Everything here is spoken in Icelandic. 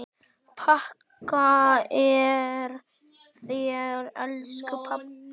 Þakka þér elsku pabbi.